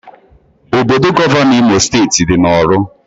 Obodo Gọvanọ Imo steeti dị na orlu